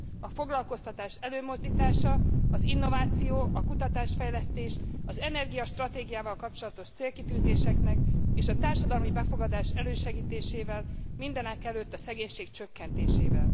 A foglalkoztatás előmozdítása, az innováció, a kutatás fejlesztés, az energiastratégiával kapcsolatos célkitűzéseknek és a társadalmi befogadás elősegítésével, mindenekelőtt a szegénység csökkentésével.